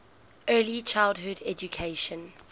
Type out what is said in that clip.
early childhood education